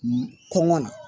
Kɔngɔ na